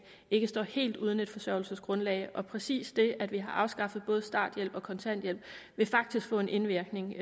ikke står helt uden et forsørgelsesgrundlag og præcis det at vi har afskaffet både starthjælp og kontanthjælpsloft vil faktisk få en indvirkning